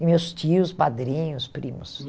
E meus tios, padrinhos, primos.